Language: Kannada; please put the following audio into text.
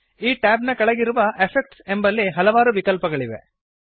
ಈ ಟ್ಯಾಬ್ ನ ಕೆಳಗಿರುವ ಎಫೆಕ್ಟ್ಸ್ ಎಂಬಲ್ಲಿ ಹಲವಾರು ವಿಕಲ್ಪಗಳಿವೆ